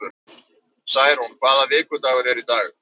Særún, hvaða vikudagur er í dag?